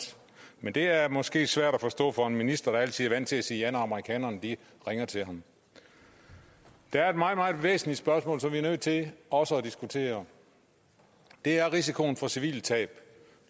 men det er måske svært at forstå for en minister der altid er vant til at sige ja når amerikanerne ringer til ham der er et meget meget væsentligt spørgsmål som vi er nødt til også at diskutere det er risikoen for civile tab